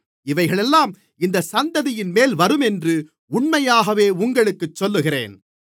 இவைகளெல்லாம் இந்தச் சந்ததியின்மேல் வருமென்று உண்மையாகவே உங்களுக்குச் சொல்லுகிறேன்